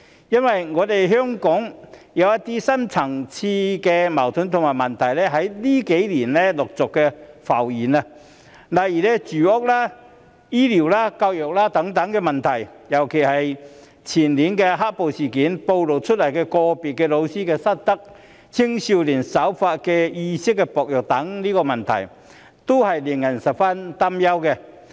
因為香港有一些深層次矛盾和問題在近幾年陸續浮現，例如住屋、醫療、教育等問題，尤其是前年"黑暴"事件所暴露的個別教師失德、青少年守法意識薄弱等問題，均令人十分擔憂。